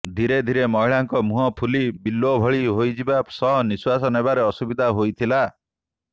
ଧିରେ ଧିରେ ମହିଳାଙ୍କ ମୁହଁ ଫୁଲି ବଲ୍ବ ଭଳି ହୋଇଯିବା ସହ ନିଶ୍ୱାସ ନେବାରେ ଅସୁବିଧା ହୋଇଥିଲା